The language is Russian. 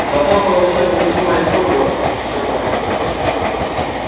но потом получил письмо из хогвартса и все понял